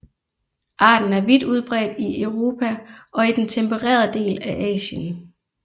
Arten er vidt udbredt i Europa og i den tempererede del af Asien